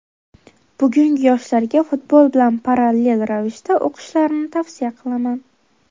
Bugungi yoshlarga futbol bilan parallel ravishda o‘qishlarini tavsiya qilaman.